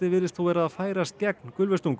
virðist þó vera að færast gegn